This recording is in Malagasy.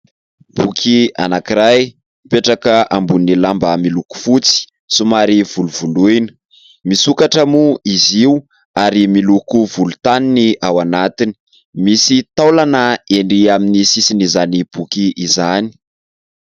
Boky anankiray mipetraka ambonin'ny lamba miloko fotsy somary volovoloina. Misokatra moa izy io ary miloko volontany ny ao anatiny. Misy taolana ery amin'ny sisin'izany boky izany.